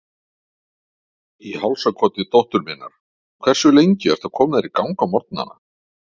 Í hálsakoti dóttur minnar Hversu lengi ertu að koma þér í gang á morgnanna?